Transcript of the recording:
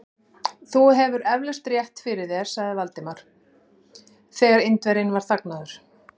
Þú hefur eflaust rétt fyrir þér sagði Valdimar, þegar Indverjinn var þagnaður.